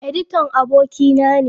Editan abokina ne.